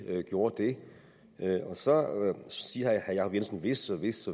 gjorde det så siger herre jacob jensen hvis og hvis